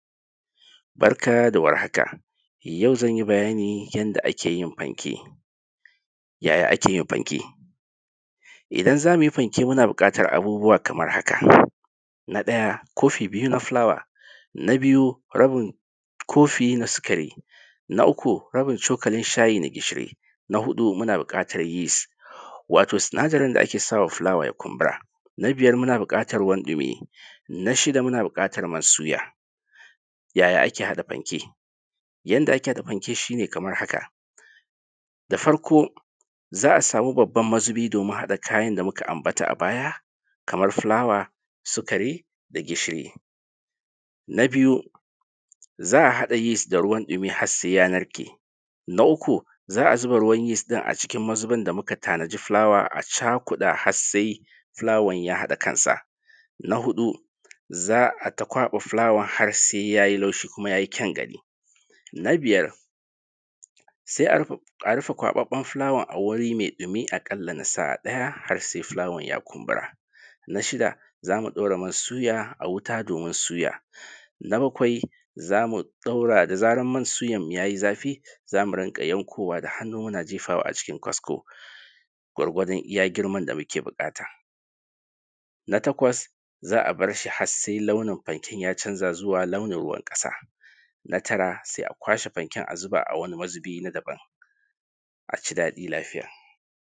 Barka da warhaka, yau zan yi bayani yanda ake yin fanke, yaya ake yin fanke? Idan zamu yi fanke muna buƙatan abubuwa kamar haka: Na ɗaya kofi biyu na fulawa Na biyu rabin kofi na sukari. Na uku rabin cokalin shayi na gishiri. Na huɗu muna bukatar yis( wato sinadarin da ake sawa fulawa ya kumbura) Na biyar muna buƙatan ruwan dumi. Na shida muna buƙatan man suya. Yaya ake haɗa fanke? Yanda ake haɗa fanke shi ne kamar haka: Da farko za a samu babban mazubi domin haɗa kayan da muka ambata a baya, kamar fulawa, sukari, da gishiri. Na biyu za a haɗa yis da ruwan ɗumi har sai ya narke. Na uku za a zuba ruwan yis din a cikin mazubin da muka tana ji fulawa a cakuɗa har sai fulawan ya haɗa kansa. Na huɗu za ai ta kwaɓa fulawa har sai yayi laushi kuma yayi kyan gani. Na biyar sai a rufe kwabaɓɓen fulawan a wuri mai ɗumi a kala na sa’a ɗaya, har sai fulawan ya kumbura. Na shida zamu ɗaura man suya a wuta domin suya. Na bakwai zamu ɗaura da zaran man suyanmu yayi zafi, zamu rinƙa yankowa da hannu muna jefawa a cikin kasko, gwargwadon iya girman da muke buƙata. Na takwas za a barshi har sai launin fanke ya canza zuwa launin ruwan ƙasa. Na tara sai a kwashe fanken a zuba a wani mazubi na dabam. Aci daɗi lafiya.